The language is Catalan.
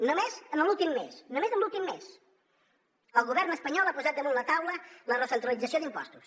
només en l’últim mes només en l’últim mes el govern espanyol ha posat damunt la taula la recentralització d’impostos